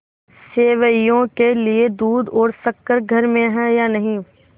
सेवैयों के लिए दूध और शक्कर घर में है या नहीं